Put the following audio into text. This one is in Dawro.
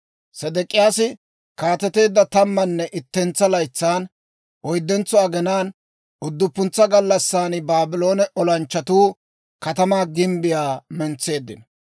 Sedek'iyaasi kaateteedda tammanne ittentsa laytsan, oyddentso aginaan, udduppuntsa gallassan Baabloone olanchchatuu katamaa gimbbiyaa mentseeddino.